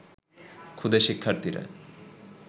ক্ষুদে শিক্ষার্থীরা